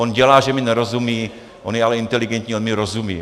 On dělá, že mi nerozumí, on je ale inteligentní, on mi rozumí.